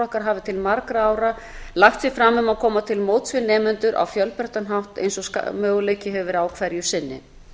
okkar hafi til margra ára lagt sig fram um að koma til móts við nemendur á fjölbreyttan hátt eins og möguleiki hefur verið á hverju sinni